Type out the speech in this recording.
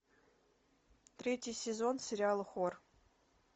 третий сезон сериала хор